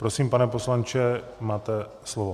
Prosím, pane poslanče, máte slovo.